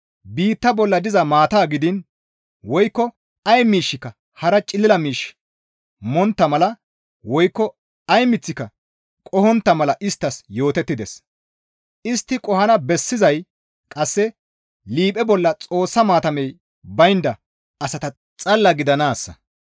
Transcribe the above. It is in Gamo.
Biitta bolla diza maata gidiin woykko ay miishshika hara cilila miish montta mala woykko ay miththika qohontta mala isttas yootettides; istti qohana bessizay qasse liiphe bolla Xoossa maatamey baynda asata xalla gidanaassa.